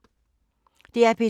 DR P2